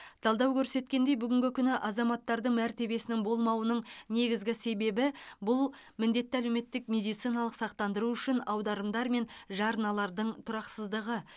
талдау көрсеткендей бүгінгі күні азаматтардың мәртебесінің болмауының негізгі себебі бұл міндетті әлеуметтік медициналық сақтандыру үшін аударымдар мен жарналардың тұрақсыздығы